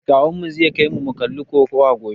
Kawunmu zai kaimu mu kalli kokawa gobe.